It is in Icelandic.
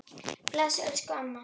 Bless elsku amma.